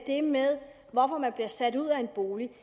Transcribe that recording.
det med hvorfor man bliver sat ud af en bolig